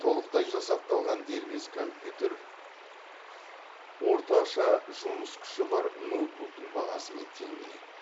толықтай жасақталған дербес компьютер орташа жұмыс күші бар ноутбуктың бағасымен тең келеді